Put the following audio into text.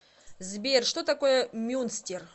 сбер что такое мюнстер